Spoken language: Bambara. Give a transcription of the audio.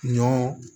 Ɲɔ